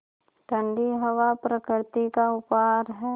ठण्डी हवा प्रकृति का उपहार है